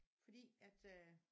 Fordi at øh